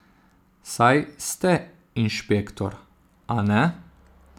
Saj ste inšpektor, a ne?